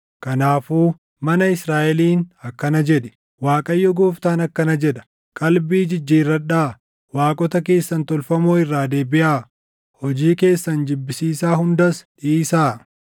“Kanaafuu mana Israaʼeliin akkana jedhi; ‘ Waaqayyo Gooftaan akkana jedha: qalbii jijjiirradhaa! Waaqota keessan tolfamoo irraa deebiʼaa; hojii keessan jibbisiisaa hundas dhiisaa!